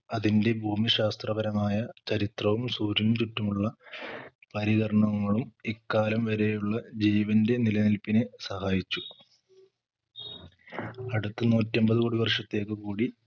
അതിന്റെ ഭൂമിശാസ്ത്രപരമായ ചരിത്രവും സൂര്യനു ചുറ്റുമുള്ള പരികരണങ്ങളും ഇക്കാലം വരെയുള്ള ജീവന്റെ നിലനിൽപ്പിനെ സഹായിച്ചു അടുത്ത നൂറ്റി അമ്പത് കോടി വർഷത്തേക്ക് കൂടി